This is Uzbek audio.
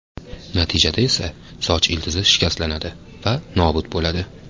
Natijada esa soch ildizi shikastlanadi va nobud bo‘ladi.